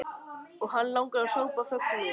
Og hana langar að hrópa af fögnuði.